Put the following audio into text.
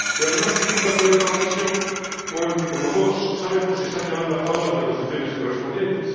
Y, además, es un país candidato a la adhesión con el que, como todos sabemos, se están llevando a cabo las negociaciones correspondientes.